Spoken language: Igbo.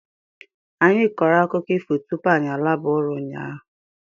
Anyị kọrọ akụkọ ifo tupu anyị alaba ụra ụnyaahụ.